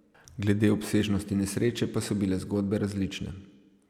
Glede obsežnosti nesreče pa so bile zgodbe različne.